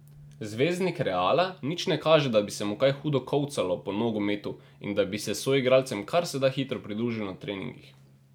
Zvezdnik Reala nič ne kaže, da bi se mu kaj hudo kolcalo po nogometu in da bi se soigralcem kar se da hitro pridružil na treningih.